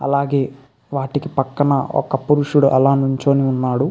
అలాగే వాటికి పక్కన ఒక పురుషుడు అలా నుంచొని ఉన్నాడు.